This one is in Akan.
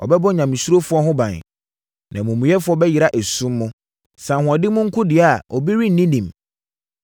Ɔbɛbɔ nyamesurofoɔ ho ban, na amumuyɛfoɔ bɛyera esum mu. “Sɛ ahoɔden mu nko deɛ a, obi renni nim;